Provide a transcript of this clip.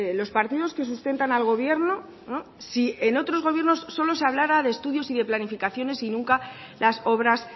los partidos que sustentan al gobierno si en otros gobiernos solo se hablara de estudios y de planificaciones y nunca las obras